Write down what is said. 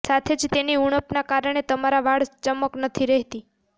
સાથે જ તેની ઉણપના કારણે તમારા વાળ ચમક નથી રહેતી